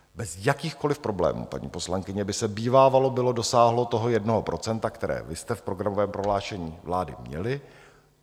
Bez jakýchkoliv problémů, paní poslankyně, by se bývávalo bylo dosáhlo toho jednoho procenta, které vy jste v programovém prohlášení vlády měli.